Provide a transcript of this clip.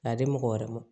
K'a di mɔgɔ wɛrɛ ma